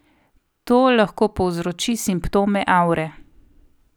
To lahko povzroči simptome avre.